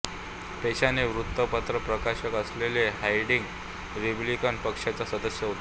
पेशाने वृत्तपत्रप्रकाशक असलेला हार्डिंग रिपब्लिकन पक्षाचा सदस्य होता